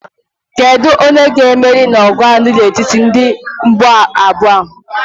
Kedu onye ga-emeri n'ọgụ a dị n'etiti ndị mgba abụọ a?